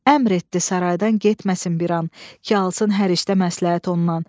Əmr etdi saraydan getməsin bir an ki, alsın hər işdə məsləhət ondan.